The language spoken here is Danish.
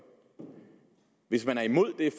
hvis man er imod det